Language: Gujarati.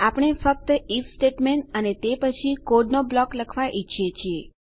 આપણે ફક્ત આઇએફ સ્ટેટમેંટ અને તે પછી કોડનો બ્લોક લખવા ઈચ્છીએ છીએ